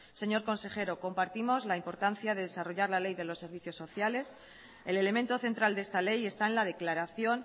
señor consejero compartimos la importancia de desarrollar la ley de los servicios sociales el elemento central de esta ley está en la declaración